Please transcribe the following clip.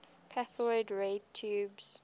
cathode ray tubes